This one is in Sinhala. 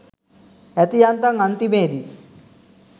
ඇති යන්තම් අන්තිමේදී